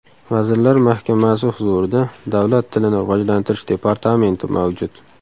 Vazirlar Mahkamasi huzurida Davlat tilini rivojlantirish departamenti mavjud.